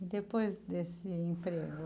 E depois desse emprego?